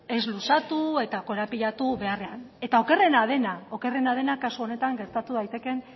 ez luzatu eta korapilatu beharrean eta okerrena dena okerrena dena kasu honetan gertatu daitekeen